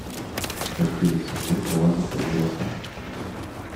хотели семьей полазить по веревкам